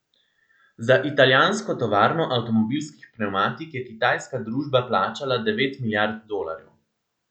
Za italijansko tovarno avtomobilskih pnevmatik je kitajska družba plačala devet milijard dolarjev.